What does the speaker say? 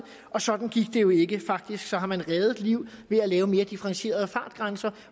og sådan gik det jo ikke faktisk har man reddet liv ved at lave mere differentierede fartgrænser